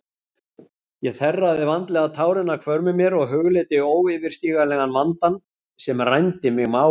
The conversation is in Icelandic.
Ég þerraði vandlega tárin af hvörmum mér og hugleiddi óyfirstíganlegan vandann sem rændi mig máli.